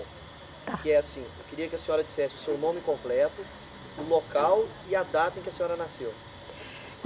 Que é assim, eu queria que a senhora dissesse o seu nome completo, o local e a data em que a senhora nasceu.